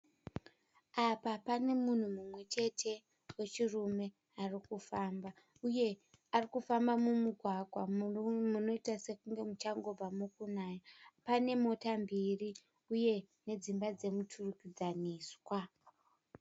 Apa panemunhu mumwechete wechirume arikufamba uye arikufamba mumugwagwa munoita sekunge muchangobva mukunaya. Panemota mbiri uye nedzimba dzemuturikidzaniswa.